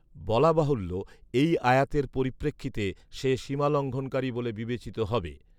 বলা বাহুল্য, এই আয়াতের পরিপেক্ষিতে সে সীমালঙ্ঘনকারী বলে বিবেচিত হবে